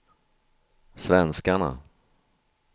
svenskarna